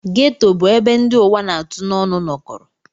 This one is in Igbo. Geto bụ ebe ndị ụwa na-atụ n'ọnụ nọkọrọ.